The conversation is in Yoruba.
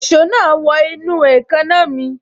Èso náà wọ inú èékánná mi